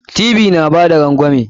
Ty na bada rangwami.